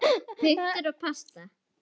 Punktur basta!